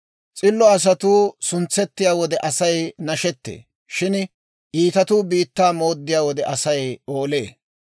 S'illo asatuu suntsettiyaa wode Asay nashettee; shin iitatuu biittaa mooddiyaa wode Asay oolee.